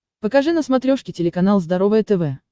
покажи на смотрешке телеканал здоровое тв